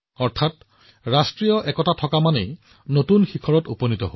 অৰ্থাৎ যদি ৰাষ্ট্ৰীয় ঐক্য থাকে তেতিয়া উন্নয়নো হয়